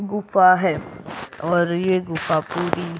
गुफा है और यह गुफा पूरी.